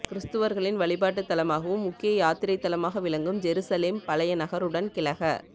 கிறிஸ்தவர்களின் வழிபாட்டுத் தளமாகவும் முக்கிய யாத்திரைத் தளமாக விளங்கும் ஜெருசலேம் பழைய நகருடன் கிழக